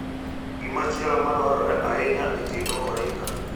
Gimachielo ma dwarore ahinya e keto ohinga